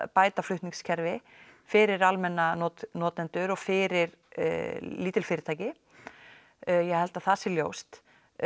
bæta flutningskerfi fyrir almenna notendur og fyrir lítil fyrirtæki ég held að það sé ljóst